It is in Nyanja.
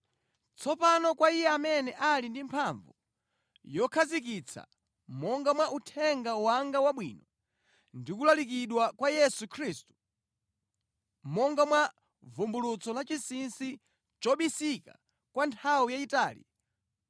Tsopano kwa Iye amene ali ndi mphamvu yokhazikitsa monga mwa uthenga wanga wabwino ndikulalikidwa kwa Yesu Khristu, monga mwa vumbulutso lachinsinsi chobisika kwa nthawi yayitali,